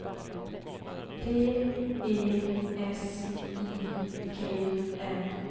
D E S I G N